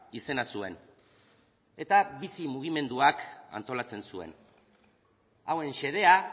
izena zuen eta bizi mugimenduak antolatzen zuen hauen xedea